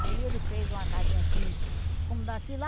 Aí ele fez uma casinha assim, como daqui lá,